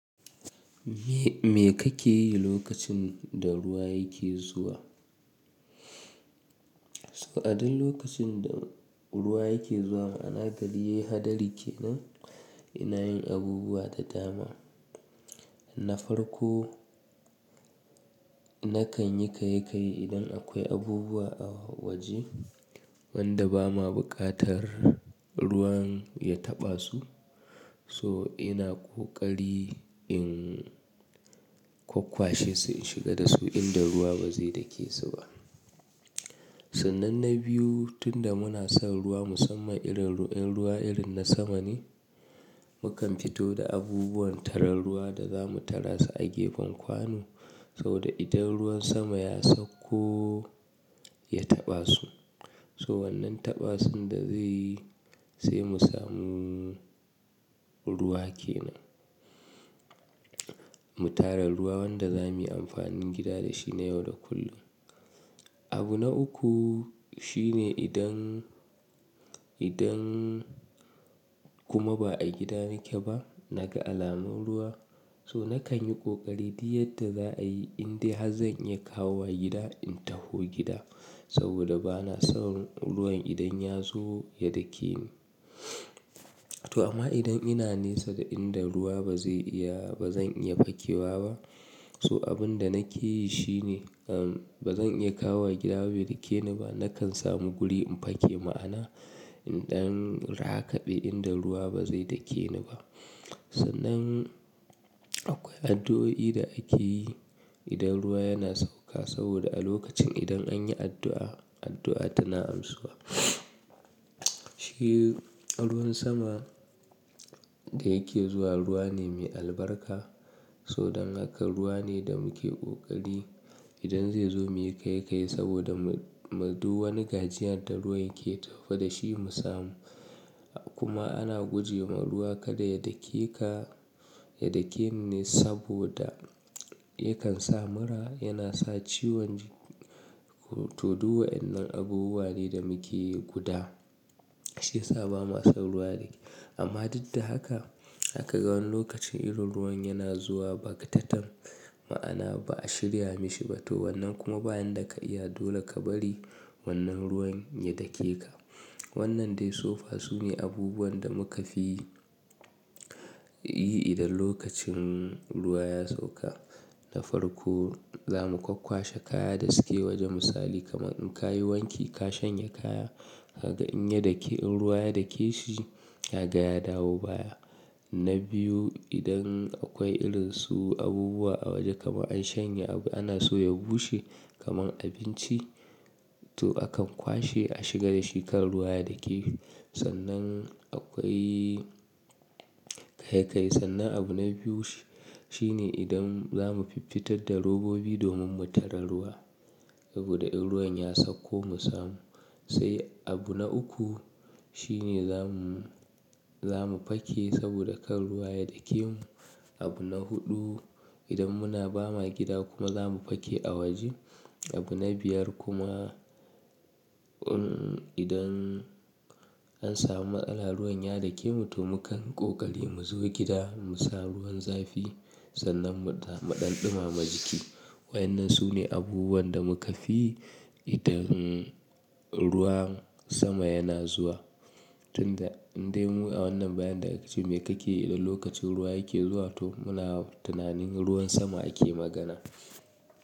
Me kake yi lokacin da ruwa yake zuwa? So a duk lokacin da ruwa yake zuwa ana gani hadari kenan. Ina yin abubuwa da dama. Na farko, nakan yi kai kai idan akwai abubuwa a waje wanda ba ma buƙatar ruwan ya taɓa su. So ina ƙoƙari in kwakwa shi su shiga da su inda ruwa ba zai dake su ba. Sannan na biyu, tun da muna son ruwa musamman irin ruwan, ruwa irin na sama ne, mukan fito da abubuwan tarar ruwa da za mu tara su a gefen kwano. Saboda idan ruwan sama ya sauko ya taɓa su, so wannan taɓa sun da zai yi sai mu samu ruwa kenan. Mu tara ruwa wanda za mu yi amfanin gida da shi na yau da kullum. Abu na uku shine idan, idan kuma ba a gida nake ba, naga alamun ruwa so nakan yi ƙoƙari duk yadda za a yi inda zan iya kawo wa gida in taho gida. Saboda ba na son ruwan idan ya zo ya dake ni. To amma idan ina nesa da inda ruwa ba zai iya, ba zan iya fakewa ba. So abun da nake yi shine, um, ba zan iya kawo gida bai dake ni ba. Nakan samu guri in faki ma'ana idan rakaɓe inda ruwa ba zai dake ni ba. Sannan akwai addu'o'i da ake yi idan ruwa yana sauka saboda a lokacin idan an yi addu'a, addu'a tana amsuwa. Shi ruwan sama da yake zuwa ruwa ne mai albarka. So dan haka ruwa ne da muke ƙoƙari idan zai zo muyi kai kai saboda mu, mu du wani gajiyar da ruwa yake tafi da shi mu samu. Kuma ana guje wa ruwa kada ya dake ka, ya dake ni saboda yakan sa mura, yana sa ciwon tudu wa'yan nan abubuwa ne da muke yi guda. Shi yasa ba ma son ruwa ne. Amma duk da haka, haka ga wani lokacin irin ruwan yana zuwa ba ƙataten ma'ana ba a shirya mishi ba to wannan kuma ba'in da ka iya dole ka bari wannan ruwan ya dake ka. Wannan dai so fa su ne abubuwan da muka fi yi idan lokacin ruwa ya sauka. Na farko, za mu kwakwa shi kaya da suke waje misali kamar in ka yi wanki ka shanye kaya, haka in ya dake, in ruwa ya dake shi haka ya dawo baya. Na biyu, idan akwai irin su abubuwa a waje kamar an shanye abu ana so ya bushe kamar abinci, to akan kwashe a shiga da shi kan ruwa ya dake. Sannan akwai kai kai. Sannan abu na biyu shi, shi ne idan za mu fiffitar da robobi domin mu tara ruwa saboda in ruwan ya sauko mu samu. Sai abu na uku shine zamu, zamu faki saboda kan ruwa ya dake mu. Abu na huɗu, idan muna ba ma gida kuma za mu faki a waje. Abu na biyar kuma in idan an samu matsala ruwan ya dake mu to mukan ƙoƙari mu zo gida mu sa ruwan zafi sannan mu ɗa, mu ɗan ɗumama jiki. Wa'yan nan su ne abubuwan da muka fi idan ruwan sama yana zuwa. Tun da, dai mu a wannan bayan da aka ce me kake yi da lokacin ruwa yake zuwa? To muna tunanin ruwan sama ake magana.